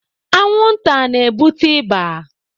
Anwụ nta na-ebute ịba.